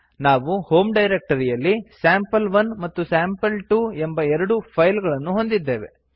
ನಾವು ಹೋಮ್ ಡೈರಕ್ಟರಿಯಲ್ಲಿ ಸ್ಯಾಂಪಲ್1 ಮತ್ತು ಸ್ಯಾಂಪಲ್2 ಎಂಬ ಎರಡು ಫೈಲ್ ಗಳನ್ನು ಹೊಂದಿದ್ದೇವೆ